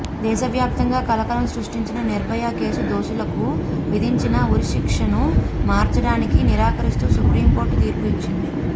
దేశవ్యాప్తంగా కలకలం సృష్టించిన నిర్భయ కేసు దోషులకు విధించిన ఉరి శిక్షను మార్చడానికి నిరాకరిస్తూ సుప్రీంకోర్టు తీర్పు ఇచ్చింది